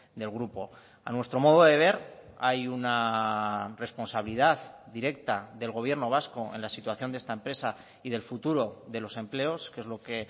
del grupo a nuestro modo de ver hay una responsabilidad directa del gobierno vasco en la situación de esta empresa y del futuro de los empleos que es lo que